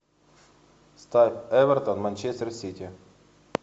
ставь эвертон манчестер сити